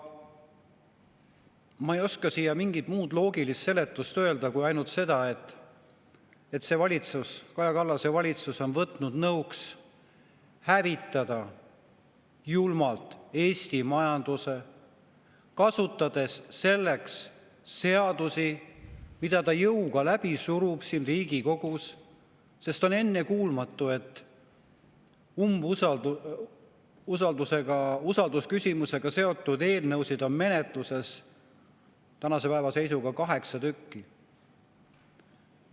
Ma ei oska sellele mingit muud loogilist seletust anda kui ainult seda, et see valitsus, Kaja Kallase valitsus on võtnud nõuks julmalt hävitada Eesti majandus, kasutades selleks seadusi, mida ta jõuga läbi surub siin Riigikogus, sest on ennekuulmatu, et usaldusküsimusega seotud eelnõusid on menetluses tänase päeva seisuga kaheksa tükki.